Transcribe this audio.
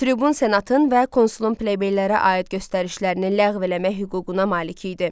Tribun senatın və konsulun plebeylərə aid göstərişlərini ləğv eləmək hüququna malik idi.